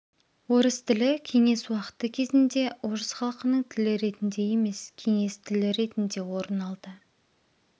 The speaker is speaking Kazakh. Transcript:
орыс тілі кеңес уақыты кезінде орыс халықының тілі ретінде емес кеңес тілі ретінде орын алды